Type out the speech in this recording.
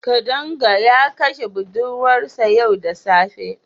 Kadanga ya kashe budurwarsa yau da safe.